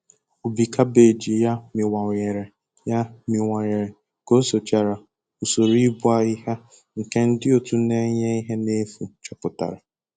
Ubi kabeeji ya miwanyere ya miwanyere ka o sochara usoro igbu ahịhịa nke ndi otu na enye ihe na efu chọpụtara